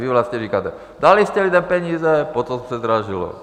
Vy vlastně říkáte: Dali jste lidem peníze, potom se zdražilo.